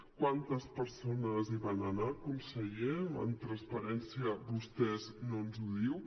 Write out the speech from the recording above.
quantes persones hi van anar conseller amb transparència vostè no ens ho diu